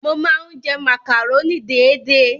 Mo máa ń jẹ màkàrónì déédé.